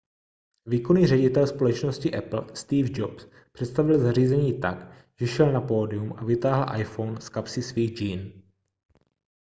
výkonný ředitel společnosti apple steve jobs představil zařízení tak že šel na pódium a vytáhl iphone z kapsy svých džín